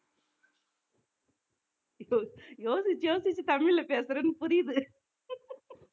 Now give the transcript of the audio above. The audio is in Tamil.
யோசிச்சு யோசிச்சு தமிழ்ல பேசுறேன்னு புரியுது